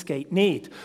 Das geht nicht.